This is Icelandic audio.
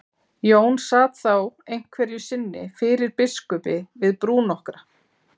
Jón sat þá einhverju sinni fyrir biskupi við brú nokkra.